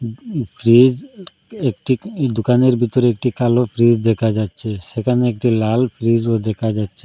Fridge একটি দোকানের ভেতরে একটি কালো ফ্রিজ দেখা যাচ্ছে সেখানে একটি লাল ফ্রিজও দেখা যাচ্ছে।